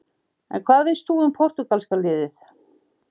En hvað veist þú um Portúgalska-liðið?